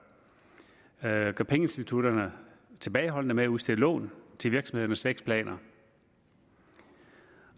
at pengeinstitutterne er tilbageholdende med at udstede lån til virksomhedernes vækstplaner